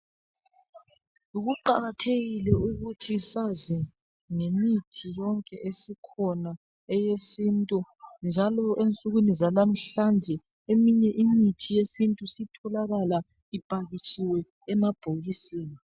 Kuqakathekile ukuthi sazi ngemithi yonke esikhona eyesintu njalo ensukwini zanamhlanje eminye imithi yesintu isitholakala ipakitshiwe emabhokisini.